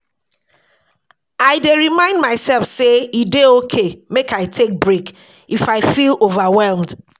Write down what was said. I dey remind myself sey e dey okay make I take break if I feel overwhelmed.